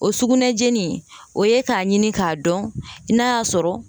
O sugunɛjeni o ye k'a ɲini k'a dɔn n'a y'a sɔrɔ